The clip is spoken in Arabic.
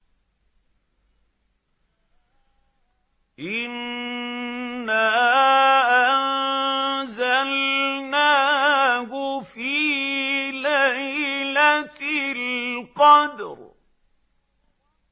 إِنَّا أَنزَلْنَاهُ فِي لَيْلَةِ الْقَدْرِ